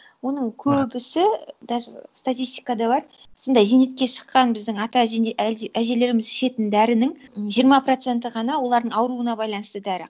оның көбісі даже статистикада бар сондай зейнетке шыққан біздің ата әжелеріміз ішетін дәрінің жиырма проценті ғана олардың ауруына байланысты дәрі